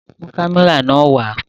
Mu kamẹra nàa wa!